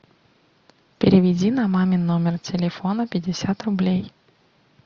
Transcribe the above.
переведи на мамин номер телефона пятьдесят рублей